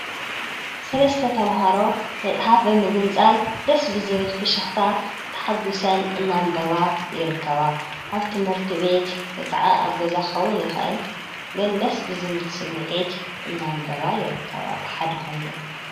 ሠለስተ ተምሃሮ መጽሓፍ በምግንጻል ደስብዝብል ፍሽኽታ ተሓጕሰን እናንበባ ይረከባ ኣብ ትምህርቲ ቤት ከዓ ኣብ ገዛኸዉን ይኽእል ግን ደስ ብዝብል ስሚዕት እናንበባ ይረከባ ብሓዲኾይነን